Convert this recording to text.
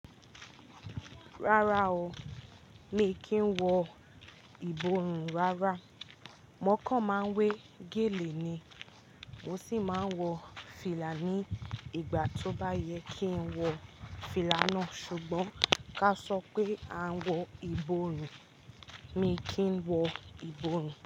Rárá o, mi kì í wọ ìborùn rárá. Mo kàn máa ń wé gèlè ni. Mo sì máa ń wọ fìlà ní ìgbà tó bá yẹ kí n wọ fìlà náà. Ṣùgbọ́n ká a sọ pé a ń wọ ìborùn, mi kì í wọ ìborùn.